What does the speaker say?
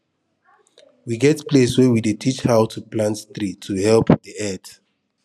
we get place wey we dey teach how to plant tree to help the earth